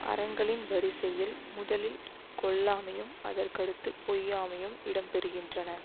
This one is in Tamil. அறங்களின் வரிசையில் முதலில் கொல்லாமையும் அதற்கடுத்துப் பொய்யாமையும் இடம் பெறுகின்றன